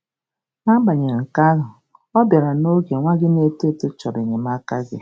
N'agbanyeghị nke ahụ, ọ bịara n'oge nwa gị na-eto eto chọrọ enyemaka gị.